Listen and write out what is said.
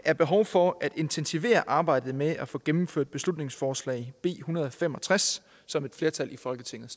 er behov for at intensivere arbejdet med at få gennemført beslutningsforslag nummer en hundrede og fem og tres som et flertal i folketinget